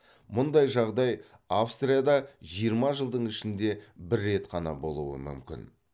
мұндай жағдай австрияда жиырма жылдың ішінде бір рет қана болуы мүмкін